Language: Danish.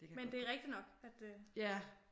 Men det er rigtigt nok at det øh